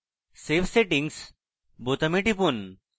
save settings বোতামে টিপুন